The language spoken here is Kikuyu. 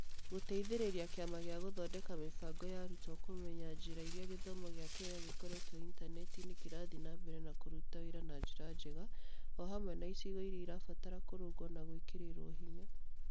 Gũteithĩrĩria Kĩama gĩa Gũthondeka Mĩbango ya Arutwo kũmenya njĩra iria gĩthomo gĩa Kenya gĩkorĩtwo intaneti-inĩ kĩrathiĩ na mbere kũruta wĩra na njĩra njega, o hamwe na icigo iria irabatara kũrũngwo na gwĩkĩrĩrũo hinya.